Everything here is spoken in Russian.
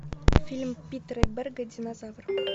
фильм питера берга динозавр